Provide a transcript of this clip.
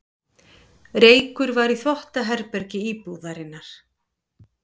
Reykur var í þvottaherbergi íbúðarinnar